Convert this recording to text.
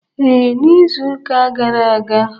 Ee, n'izuụka gara aga.